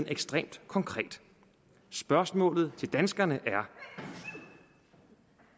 ekstremt konkret spørgsmålene til danskerne er